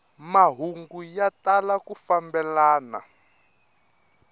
mahungu ya tala ku fambelana